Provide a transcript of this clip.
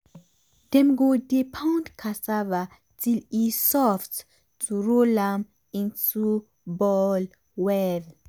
dem go dey pound cassava till e soft to roll am into ball well.